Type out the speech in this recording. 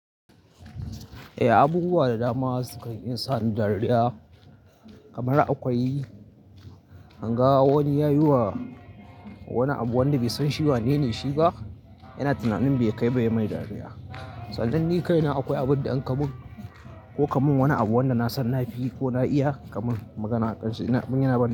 Eh, abubuwa da dama sukan iya sa ni dariya kamar akwai in ga wani ya yi wa wani abu wanda bai san shi wanene shi ba, yana tunanin bai kai ba, ya mai dariya. Sannan ni kai na akwai abin da an kamin ko kamin wani abu wanda na san na fi ko na iya kamin magana aƙan shi. In ya na ban.